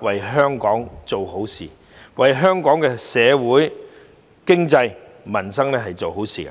為香港做好事，為香港社會、經濟、民生做好事。